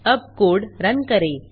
अब code run करें